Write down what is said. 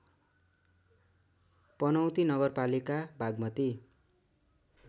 पनौती नगरपालिका बागमती